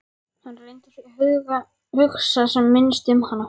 Hann reyndi því að hugsa sem minnst um hana.